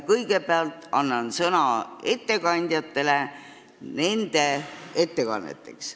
Kõigepealt anname sõna ettekandjatele nende ettekanneteks.